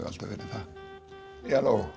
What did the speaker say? alltaf verið það já